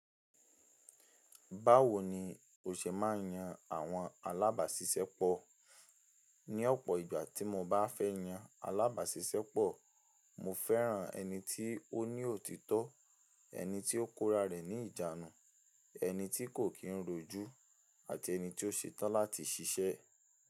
Báwo ni o ṣe máa ń yan àwọn alábàáṣiṣẹ́pọ̀? Ní ọ̀pọ̀ ìgbà tí mo bá fẹ́ yan alábàáṣiṣẹ́pọ̀, mo fẹ́ràn ẹni tí ó ní òtítọ́, ẹni tí ó kóra rẹ̀ ní ìjánu, ẹni tí kò kí ń rojú, àti ẹni tí ó ṣetán láti ṣiṣẹ́.